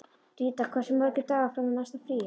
Ríta, hversu margir dagar fram að næsta fríi?